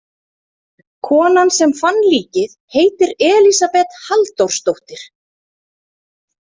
Konan sem fann líkið heitir Elísabet Halldórsdóttir.